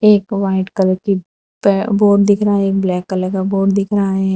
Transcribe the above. एक white colour की बै बोर्ड दिख रहा है एक ब्लैक कलर का बोर्ड दिख रहा है।